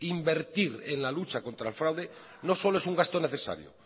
invertir en la lucha contra el fraude no solo es un gasto necesario